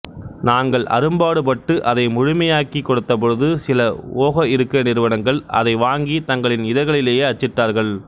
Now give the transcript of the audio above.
நாங்கள் அரும்பாடுபட்டு அதை முழுமையாக்கிக் கொடுத்த பொழுது சில ஓக இருக்கை நிறுவனங்கள் அதை வாங்கி தங்களின் இதழ்களிலே அச்சிட்டார்கள்